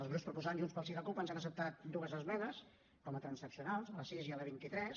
els grups proposants junts pel sí i la cup ens han acceptat dues esmenes com a transaccionals la sis i la vint tres